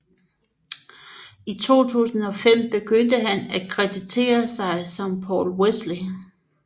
I 2005 begyndte han at kreditere sig som Paul Wesley